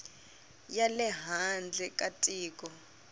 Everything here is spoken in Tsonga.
ya le handle ka tiko